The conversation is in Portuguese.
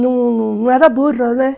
Não era burra, né?